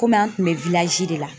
Kɔmi an tun bɛ de la ,